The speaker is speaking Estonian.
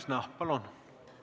Liina Kersna, palun!